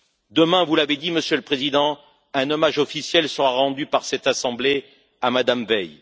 Demain, vous l'avez dit, Monsieur le Président, un hommage officiel sera rendu par cette Assemblée à Mme Veil